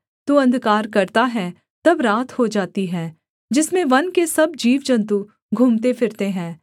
तू अंधकार करता है तब रात हो जाती है जिसमें वन के सब जीवजन्तु घूमतेफिरते हैं